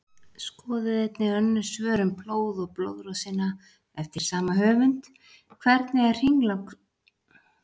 Skoðið einnig önnur svör um blóð og blóðrásina eftir sama höfund: Hvernig er hringrás blóðsins?